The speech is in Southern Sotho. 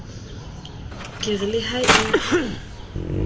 ke re le ha e